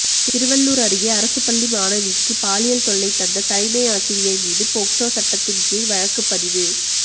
திருவள்ளுர் அருகே அரசுப்பள்ளி மாணவிக்கு பாலியல் தொல்லை தந்த தலைமையாசிரியர் மீது போக்சோ சட்டத்தின் கீழ் வழக்குப்பதிவு